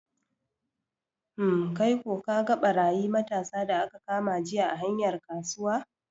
Hmm, kaiko kaga ɓarayi matasa da aka kama jiya a hanyar kasuwa?